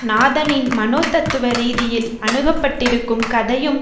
நாதனின் மனோதத்துவ ரீதியில் அணுகப்பட்டிருக்கும் கதையும்